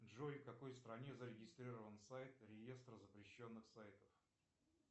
джой в какой стране зарегистрирован сайт реестр запрещенных сайтов